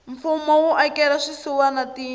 mfumo wu akela swisiwana tindlu